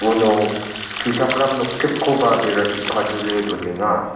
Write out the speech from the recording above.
uno tuchakram noktipkoba berachi kadule donenga.